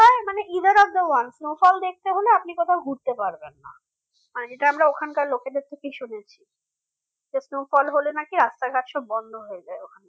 মানে either of the one snowfall দেখতে হলে আপনি কোথাও ঘুরতে পারবেন না আর যেটা আমরা ওখানকার লোকেদের থেকে শুনেছি তো snowfall হলে নাকি রাস্তাঘাট সব বন্ধ হয়ে যায় ওখানে